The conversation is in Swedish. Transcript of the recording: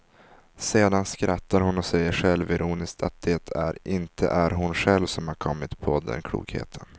Sedan skrattar hon och säger självironiskt att det är inte är hon själv som kommit på den klokheten.